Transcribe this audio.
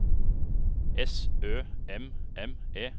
S Ø M M E